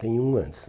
Tem um antes.